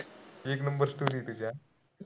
एक numberstory होती